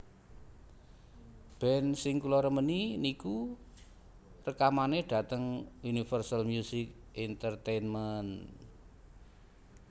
Band sing kula remeni niku rekamane dateng Universal Music Entertainment